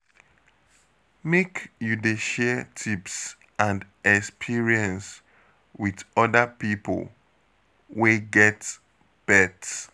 Make you dey share tips and experience wit oda pipo wey get pet.